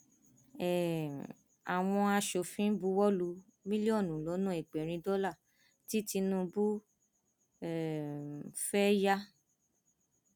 um àwọn aṣòfin buwọ lu mílíọnù lọnà ẹgbẹrin dọlà tí tinubu um fẹẹ yà